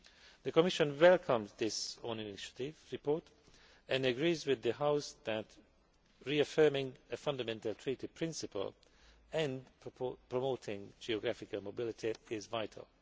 The Commission welcomes this own initiative report and agrees with the House that reaffirming a fundamental Treaty principle and promoting geographical mobility is vital.